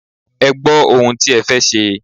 Ẹ gbọ́ ohun tí ẹ fẹ́ ṣe.